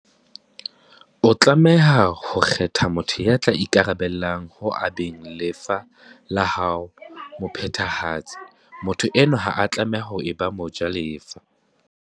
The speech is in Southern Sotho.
O tlameha ho kgetha motho ya tla ikarabella ho abeng lefa la hao mo phethahatsi. Motho enwa ha a tlameha ho eba mo jalefa.